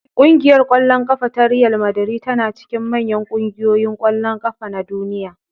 Ƙungiyar ƙwallon ƙafa ta Riyal Madari tana cikin manyan ƙungiyoyin ƙwallon ƙafa na Duniya.